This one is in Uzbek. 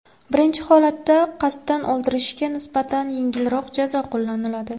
Birinchi holatda qasddan o‘ldirishga nisbatan yengilroq jazo qo‘llaniladi.